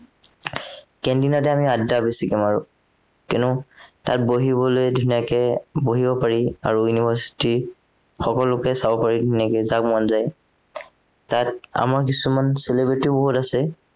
canteen তে আমি আদ্দা আমি বেছিকে মাৰো কিয়নো তাত বহিবলে ধুনীয়াকে বহিব পাৰি আৰু university ৰ সকলোকে চাব পাৰি ধুনীয়াকে যাক মন যায় তাত আমাৰ কিছুমান celebrity বহুত আছে